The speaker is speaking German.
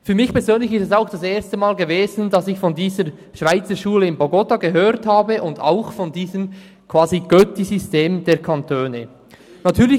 Für mich persönlich war es auch das erste Mal gewesen, dass ich von dieser Schweizerschule im Bogotá und von diesem Götti-System der Kantone gehört habe.